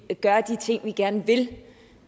gøre de ting vi gerne vil